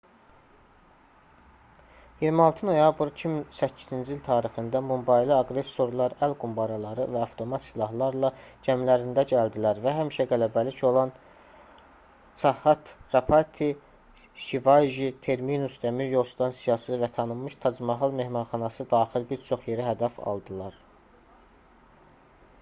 26 noyabr 2008-ci il tarixində mumbaylı aqressorlar əl qumbaraları və avtomat silahlarla gəmilərində gəldilər və həmişə qələbəlik olan chhatrapati shivaji terminus dəmiryol stansiyası və tanınmış tac-mahal mehmanxanası daxil bir çox yeri hədəf aldılar